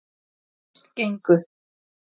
Fyrst gengu